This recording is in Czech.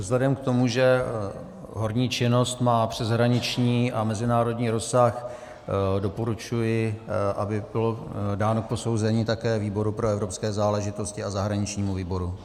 Vzhledem k tomu, že horní činnost má přeshraniční a mezinárodní rozsah, doporučuji, aby bylo dáno k posouzení také výboru pro evropské záležitosti a zahraničnímu výboru.